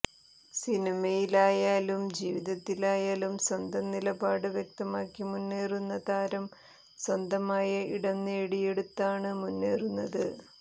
സിനിമയിലായാലും ജീവിതത്തിലായലും സ്വന്തം നിലപാട് വ്യക്തമാക്കി മുന്നേറുന്ന താരം സ്വന്തമായ ഇടം നേടിയെടുത്താണ് മുന്നേറുന്നത്